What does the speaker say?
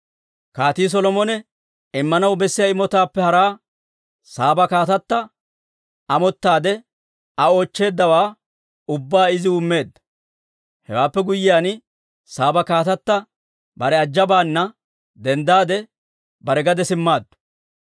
Kaatii Solomone immanaw bessiyaa imotaappe haraa, Saaba kaatatta amottaade Aa oochcheeddawaa ubbaa iziw immeedda. Hewaappe guyyiyaan Saaba kaatatta bare ajabaana denddaade, bare gade simmaaddu.